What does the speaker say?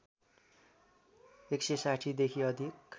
१६० देखि अधिक